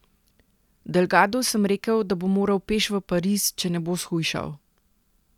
Delgadu sem rekel, da bo moral peš v Pariz, če ne bo shujšal.